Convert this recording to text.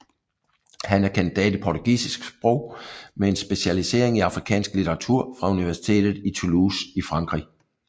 Han er kandidat i portugisisk sprog med en specialisering i afrikansk litteratur fra universitet i Toulouse i Frankrig